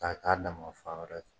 K'a k'a damafan wɛrɛ fɛ